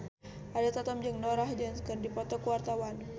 Ariel Tatum jeung Norah Jones keur dipoto ku wartawan